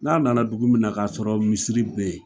N'a nana dugu minɛ k'a sɔrɔ misiri bɛ yen